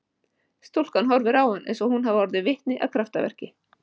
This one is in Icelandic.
Stúlkan horfir á hann eins og hún hafi orðið vitni að kraftaverki.